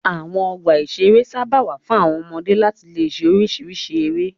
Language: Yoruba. Àwọn ọgbà-ìṣeré sábà wà fún àwọn ọmọdé láti le ṣe oríṣiríṣi eré.